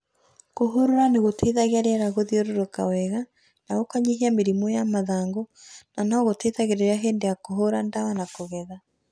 kũhũrũra nĩ gũteĩthagĩa rĩera gũthĩũrũrũka wega na kũnyĩhĩa mĩrĩmũ ya mathangũ na nogũteĩthagĩrĩrĩa hĩndĩ ya kũhũũra dawa na kũgetha